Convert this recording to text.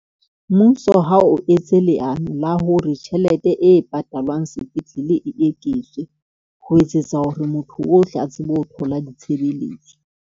Mmuso ha o etse leano la hore tjhelete e patalwang sepetlele e eketswa, ho etsetsa hore motho ohle a tsebe ho thola ditshebeletso.